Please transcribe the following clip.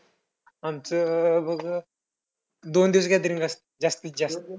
आमचं अं बघ दोन दिवस gathering असतंय जास्तीत जास्त.